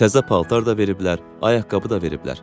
Təzə paltar da veriblər, ayaqqabı da veriblər.